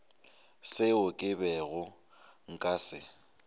seo ke bego nka se